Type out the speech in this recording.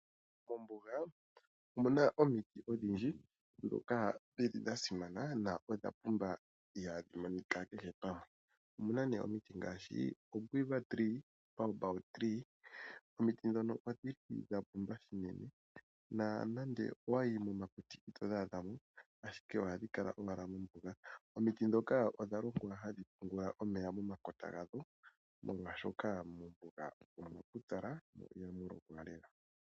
Mombuga omuna omiti odhindji ndhoka dhili dha simana na ihadhi monika kehe pamwe. Omuna omiti ngaashi oQuiver tree noBaobab tree, omiti ndino odha pumba uunene na ngele owayi momakuti itodhi adha mo, ashike ohadhi kala owala mombuga. Omiti ndhoka odha longwa hadhi pungula omeya momakota gadho, molwaashoka mombuga omwa pupyala mo ihamu lokwa lela.